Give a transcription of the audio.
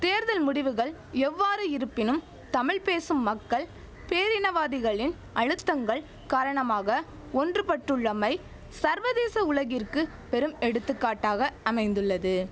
தேர்தல் முடிவுகள் எவ்வாறு இருப்பினும் தமிழ் பேசும் மக்கள் பேரினவாதிகளின் அழுத்தங்கள் காரணமாக ஒன்றுபட்டுள்ளமை சர்வதேச உலகிற்கு பெரும் எடுத்துக்காட்டாக அமைந்துள்ளது